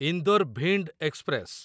Indore Bhind express